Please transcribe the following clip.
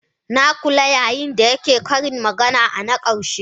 Na kula yayin da yake yin ƙarin magana na karshe